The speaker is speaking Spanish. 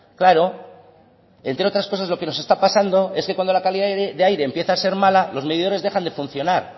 claro entre otras cosas lo que nos está pasando es que cuando la calidad de aire empieza a ser mala los medidores dejan de funcionar